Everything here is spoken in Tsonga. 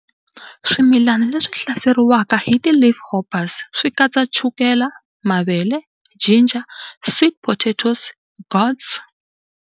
Swimilani leswi hlaseriwaka hi ti leafhoppers swikatsa chukele, mavele, ginger, sweet potatoes, gourds.